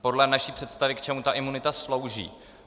Podle naší představy, k čemu ta imunita slouží?